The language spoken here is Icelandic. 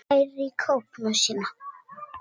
Nær í kápuna sína.